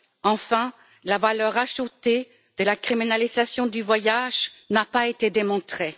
Enfin, la valeur ajoutée de la criminalisation du voyage n'a pas été démontrée.